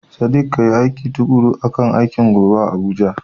Sadiq, kayi aiki tukuru akan aikin gobe a Abuja.